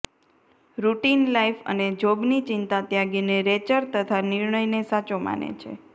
routine life અને જોબની ચિંતા ત્યાગીને રેચલ તેના નિર્ણયને સાચો માને છે